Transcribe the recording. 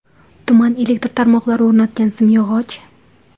Tuman elektr tarmoqlari o‘rnatgan simyog‘och.